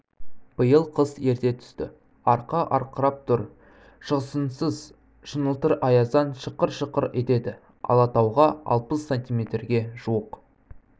биыл қыс ерте түсті арқа арқырап тұр шығысыңыз шыңылтыр аяздан шықыр-шықыр етеді алатауға алпыс санитметрге жуық